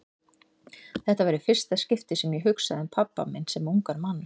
Þetta var í fyrsta skipti sem ég hugsaði um pabba minn sem ungan mann.